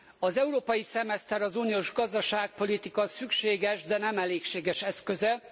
Az európai szemeszter az uniós gazdaságpolitika szükséges, de nem elégséges eszköze.